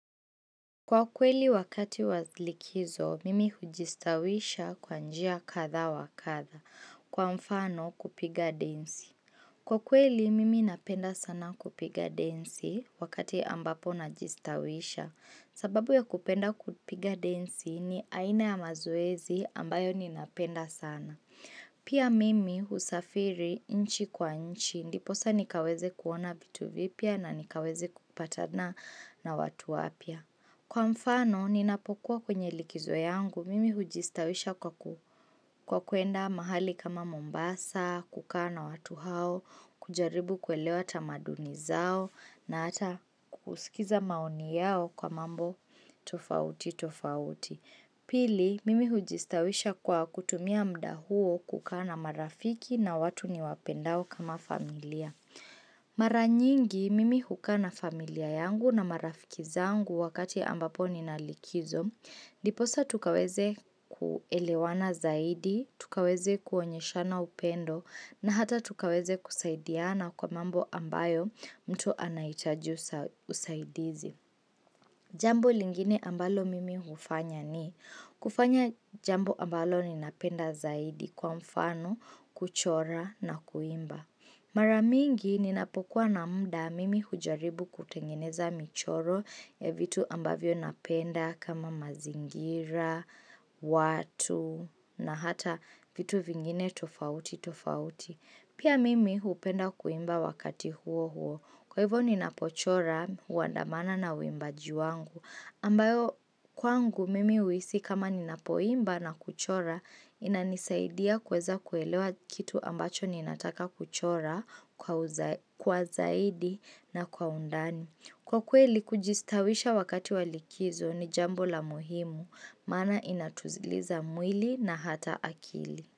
Kwa kweli wakati wa likizo, mimi hujistawisha kwanjia katha wakatha, kwa mfano kupiga densi. Kwa kweli, mimi napenda sana kupiga densi wakati ambapo najistawisha. Sababu ya kupenda kupiga densi ni aina ya mazoezi ambayo ninapenda sana. Pia mimi husafiri inchi kwa inchi, ndiposa nikaweze kuona vitu vipia na nikaweze kupatana na watu wapya. Kwa mfano, ninapokuwa kwenye likizo yangu, mimi hujistawisha kwa kuenda mahali kama Mombasa, kukaa na watu hao, kujaribu kuelewa tamaduni zao, na ata kusikiza maoni yao kwa mambo tofauti, tofauti. Pili, mimi hujistawisha kwa kutumia mda huo kukana marafiki na watu niwapendao kama familia. Mara nyingi mimi hukaa na familia yangu na marafikizangu wakati ambapo ninalikizo Ndiposa tukaweze kuelewana zaidi, tukaweze kuonyeshana upendo na hata tukaweze kusaidiana kwa mambo ambayo mtu anaitaji usaidizi Jambo lingine ambalo mimi hufanya ni kufanya jambo ambalo ninapenda zaidi kwa mfano, kuchora na kuimba Maramingi ninapokuwa na mda mimi hujaribu kutengeneza michoro ya vitu ambavyo napenda kama mazingira, watu na hata vitu vingine tofauti tofauti. Pia mimi hupenda kuimba wakati huo huo. Kwa hivyo ninapochora uandamana na uimbaji wangu. Ambayo kwangu mimi uisi kama ninapoimba na kuchora inanisaidia kuweza kuelewa kitu ambacho ninataka kuchora kwa zaidi na kwa undani. Kwa kweli kujistawisha wakati walikizo ni jambo la muhimu mana inatuziliza mwili na hata akili.